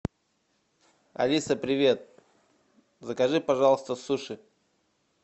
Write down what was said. алиса привет закажи пожалуйста суши